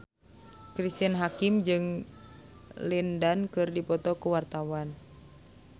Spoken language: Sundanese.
Cristine Hakim jeung Lin Dan keur dipoto ku wartawan